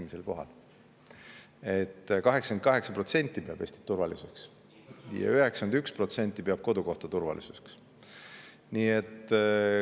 – esimesel kohal, nii et 88% peab Eestit turvaliseks ja 91% peab kodukohta turvaliseks.